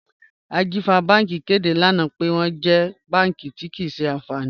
Ajífà Bànki kẹdé lánà pẹ̀ wọn jẹ́ bànki tí kíì ṣe ànfánì.